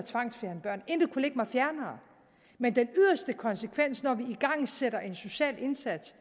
ligge mig fjernere men den yderste konsekvens når vi igangsætter en social indsats